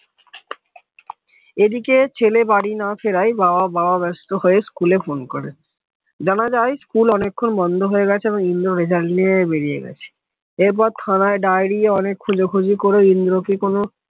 এদিকে ছেলে বাড়ি না ফেরায় বাবা বাবা ব্যাস্ত হয়ে স্কুলে phone করে জানাজায় স্কুল অনেকক্ষণ বন্ধ হয়ে গেছে আর ইন্দ্র নিয়ে বেরিয়ে গেছে এরপর থানায় ডায়েরি অনেক খোঁজাখুঁজি করে ইন্দ্র কি কোন